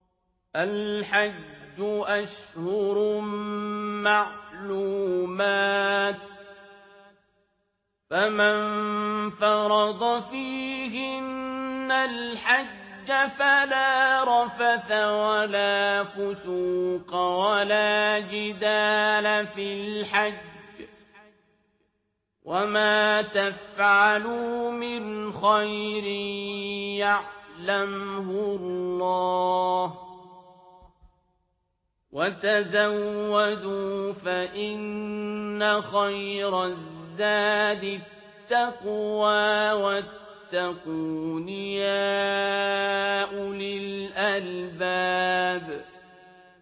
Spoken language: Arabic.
الْحَجُّ أَشْهُرٌ مَّعْلُومَاتٌ ۚ فَمَن فَرَضَ فِيهِنَّ الْحَجَّ فَلَا رَفَثَ وَلَا فُسُوقَ وَلَا جِدَالَ فِي الْحَجِّ ۗ وَمَا تَفْعَلُوا مِنْ خَيْرٍ يَعْلَمْهُ اللَّهُ ۗ وَتَزَوَّدُوا فَإِنَّ خَيْرَ الزَّادِ التَّقْوَىٰ ۚ وَاتَّقُونِ يَا أُولِي الْأَلْبَابِ